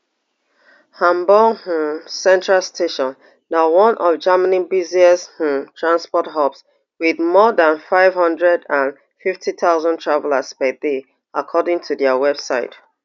hamburg um central station na one of germany busiest um transport hubs wit more dan five hundred and fifty thousand travellers per day according to dia website